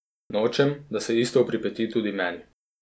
Nočem, da se isto pripeti tudi meni.